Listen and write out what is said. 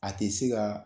A tɛ se ka